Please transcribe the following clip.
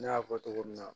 Ne y'a fɔ cogo min na